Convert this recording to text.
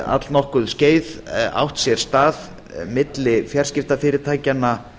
allnokkurt skeið átt sér stað milli fjarskiptafyrirtækjanna